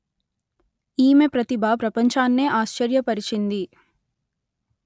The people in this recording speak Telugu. ఈమె ప్రతిభ ప్రపంచాన్నే ఆశ్చర్య పరిచింది